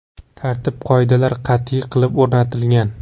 Tartib-qoidalar qat’iy qilib o‘rnatilgan.